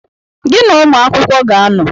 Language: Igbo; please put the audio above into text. Gị na-ụmụ akwụkwọ ga-anọ